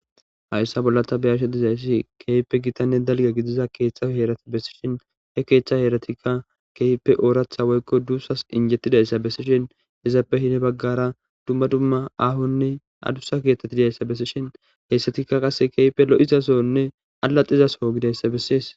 Hayssa bollata beyashe dizayssi keeype gitanne dalga gidiza keeththaheerati bessishin he keeththa heeratikka keype ooratha woykko duussas injettidayssa bessishin hezaappehine baggara dumma dumma ahonne adusa keeththeti didayssa bessishin heessatikka qasse keeype lo'izasonne alaxizaso gidayssa bessees.